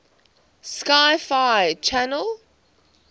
sci fi channel